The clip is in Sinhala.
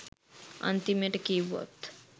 අන්තිමට කිව්වොත්